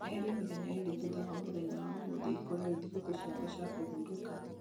eheria mĩthenya ĩrĩ thutha wa mũthenya wa ũmũthĩ ikorwo i thikũ ciakwa cia kũhurũka